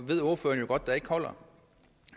ved ordføreren jo godt ikke holder